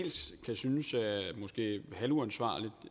halvuansvarligt